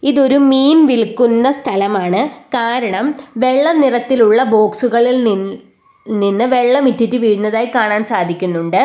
ഇതൊരു മീൻ വിൽക്കുന്ന സ്ഥലമാണ് കാരണം വെള്ള നിറത്തിലുള്ള ബോക്സുകളിൽ നി നിന്ന് വെള്ളം ഇറ്റിറ്റ് വീഴുന്നതായി കാണാൻ സാധിക്കുന്നുണ്ട്.